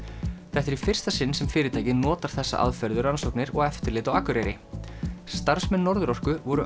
þetta er í fyrsta sinn sem fyrirtækið notar þessa aðferð við rannsóknir og eftirlit á Akureyri starfsmenn Norðurorku voru